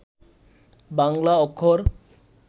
বাংলা অক্ষর